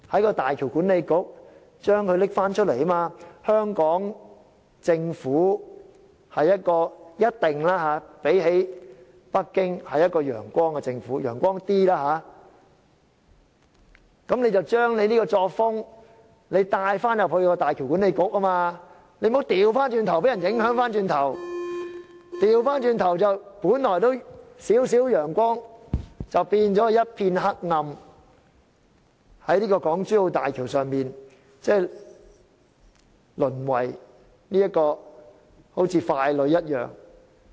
與北京政府相比，香港政府一定是較有"陽光"的政府，香港的官員應把這樣的作風帶到大橋管理局，而不要反過來受人影響，由本來仍有少許陽光變為一片黑暗，在港珠澳大橋項目中淪為傀儡。